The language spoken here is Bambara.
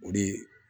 O de